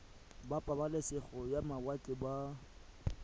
ba pabalesego ya mawatle ba